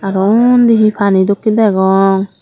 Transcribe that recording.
arw unni he pani dokke degong.